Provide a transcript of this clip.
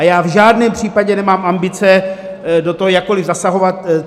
A já v žádném případě nemám ambice do toho jakkoliv zasahovat.